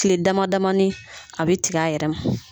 Kile dama damani a bɛ tigɛ a yɛrɛ ma.